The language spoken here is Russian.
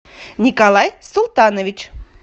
николай султанович